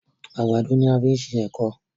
àgbàdo ní a fí ṣe ẹkọ.